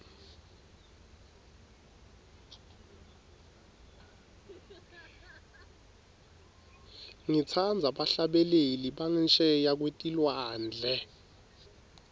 ngitsandza bahlabeleli bangesheya kwetilwandle